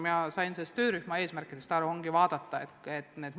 Mina sain töörühma eesmärkidest aru nii, et ongi plaanis need üle vaadata.